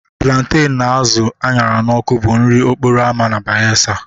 Plantain na azụ a ṅara n'ọkụ bụ nri okporo ámá na Bayelsa